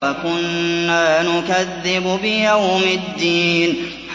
وَكُنَّا نُكَذِّبُ بِيَوْمِ الدِّينِ